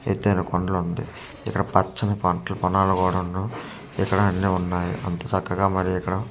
ఎత్తైన కొండలు ఉంటాయ్ ఇక్కడ పచ్చని పంటలు పొలాలు కూడున్నయ్ ఇక్కడ అన్నీ ఉన్నాయి అంతె చక్కగా మరి ఇక్కడ --